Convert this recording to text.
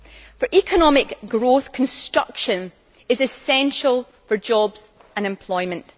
For economic growth, construction is essential for jobs and employment.